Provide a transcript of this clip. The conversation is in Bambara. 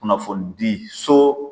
Kunnafoni di so